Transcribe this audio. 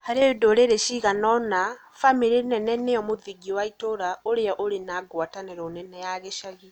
Harĩ ndũrĩrĩ ciganoina bamĩrĩ nene nĩyo mũthingi wa itũũra ũrĩa ũrĩ na gwatanĩro nene ya gĩcagi.